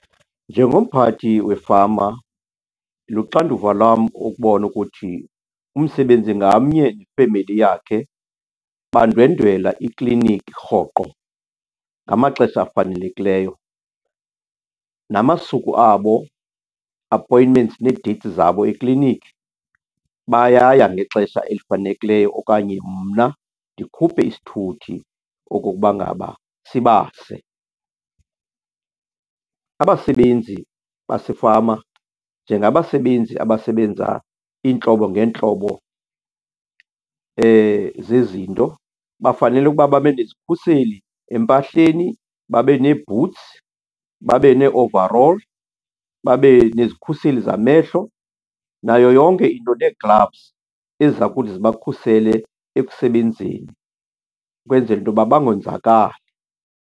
Njengomphathi wefama luxanduva lwam ukubona ukuthi umsebenzi ngamnye nefemeli yakhe bandwendwela ikliniki rhoqo ngamaxesha afanelekileyo. Namasuku abo, appointments nee-dates zabo ekliniki, bayaya ngexesha elifanelekileyo okanye mna ndikhuphe isithuthi okokuba ngaba sibase. Abasebenzi basefama, njengabasebenzi abasebenza iintlobo ngeentlobo zezinto, bafanele ukuba babe nezikhuseli empahleni, babe nee-boots, babe nee-overall, babe nezikhuseli zamehlo nayo yonke into, nee-gloves eziza kuthi zibakhusele ekusebenzeni kwenzela into yoba bangonzakali.